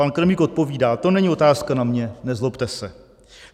Pan Kremlík odpovídá: To není otázka na mě, nezlobte se.